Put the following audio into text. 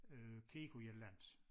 Øh kigge på et eller andet